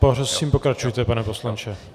Prosím, pokračujte, pane poslanče.